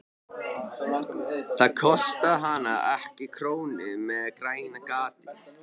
Það kostaði hana ekki krónu með grænu gati.